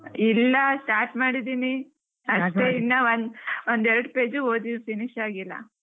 ಇಲ್ಲಾ start ಮಾಡಿದೀನಿ ಇನ್ನ ಒಂದ್~ ಒಂದೆರಡ್ page ಓದಿದಿನಿ finish ಆಗ್ಲಿಲ್ಲ.